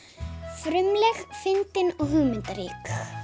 frumleg fyndin og hugmyndarík